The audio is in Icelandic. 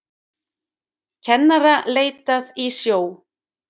Kennara leitað í sjó